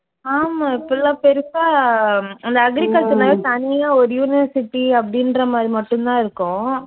ஆமா இப்போ எல்லாம் பெருசா ஹம் அந்த agriculture னாலே தனியா ஒரு university அப்படின்ற மாதிரி மட்டும் தான் இருக்கும்.